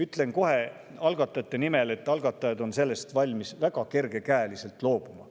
Ütlen kohe algatajate nimel, et algatajad on valmis sellest väga kergekäeliselt loobuma.